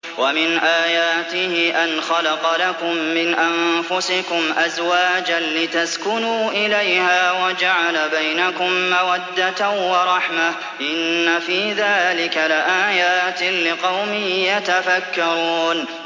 وَمِنْ آيَاتِهِ أَنْ خَلَقَ لَكُم مِّنْ أَنفُسِكُمْ أَزْوَاجًا لِّتَسْكُنُوا إِلَيْهَا وَجَعَلَ بَيْنَكُم مَّوَدَّةً وَرَحْمَةً ۚ إِنَّ فِي ذَٰلِكَ لَآيَاتٍ لِّقَوْمٍ يَتَفَكَّرُونَ